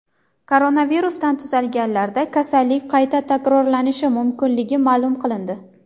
Koronavirusdan tuzalganlarda kasallik qayta takrorlanishi mumkinligi ma’lum qilindi.